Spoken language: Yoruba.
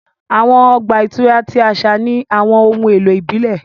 Awọn ọgba ìturá ti aṣa ni awọn ohun elo ibile.